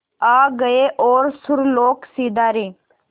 आ गए और सुरलोक सिधारे